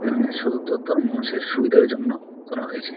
এখানে সদর দপ্তর মানুষের সুবিধার জন্য খোলা হয়েছে।